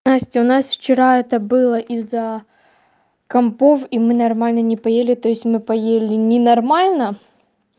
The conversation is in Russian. насть у нас вчера это было из-за компов и мы нормально не поели то есть мы поели ненормально